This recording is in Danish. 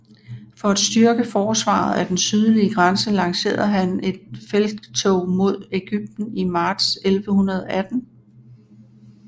For at styrke forsvaret af den sydlige grænse lancerede han en felttog mod Egypten i marts 1118